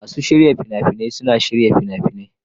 Masu shirya fina-finai suna shirya fina-finai.